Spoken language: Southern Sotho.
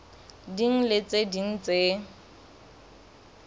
ding le tse ding tse